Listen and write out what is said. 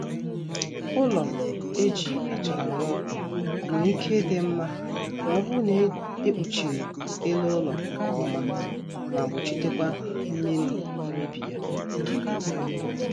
Ụlọ e ji achara ruo nwere ike ịdị nma ma ọ bụrụ na e kpuchiri ele ụlọ nkọma ma gbochitekwa mmiri imebi ya